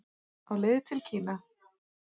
Á leið til Kína